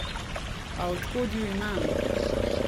A od kod ju imam?